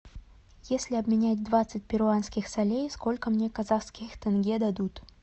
если обменять двадцать перуанских солей сколько мне казахских тенге дадут